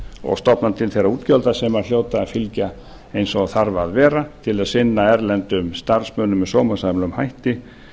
og stofna til þeirra útgjalda sem hljóta að fylgja eins og þarf að vera til að sinna erlendum starfsmönnum með sómasamlegum hætti